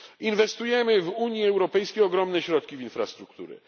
Inwestujemy w Unii Europejskiej ogromne środki w infrastrukturę.